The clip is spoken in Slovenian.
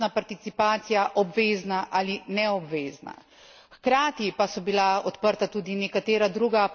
In ključno vprašanje je bilo, ali naj bo finančna participacija obvezna ali neobvezna.